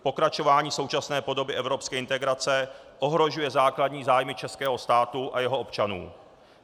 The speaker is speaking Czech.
Pokračování současné podoby evropské integrace ohrožuje základní zájmy českého státu a jeho občanů.